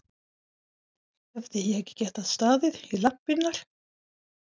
Hefði ég getað staðið í lappirnar?